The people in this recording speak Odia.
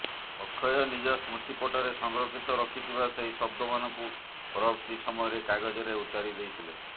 ଅକ୍ଷୟ ନିଜ ସ୍ମୃତିପଟରେ ସଂରକ୍ଷିତ ରଖିଥିବା ସେଇ ଶବ୍ଦମାନଙ୍କୁ ପରବର୍ତୀ ସମୟରେ କାଗଜରେ ଉତାରି ଦେଇଥିଲେ